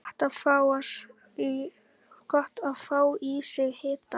Gott að fá í sig hita.